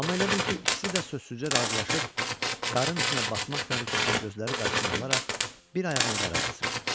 Amma elə bil ki, ikisi də sözsüzcə razılaşıb, qarın içinə batmaq təhlükəsini gözləri qarşısına alaraq bir ayağını qara basırdı.